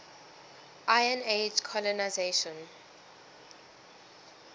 iron age colonisation